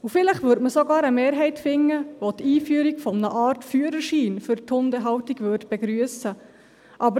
Vielleicht würde man sogar eine Mehrheit finden, welche die Einführung einer Art Führerschein für die Hundehaltung begrüssen würde.